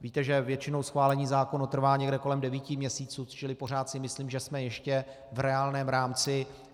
Víte, že většinou schválení zákonů trvá někde kolem devíti měsíců, čili pořád si myslím, že jsme ještě v reálném rámci.